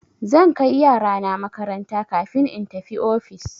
Zan kai yarana makaranta kafin in tafi ofis.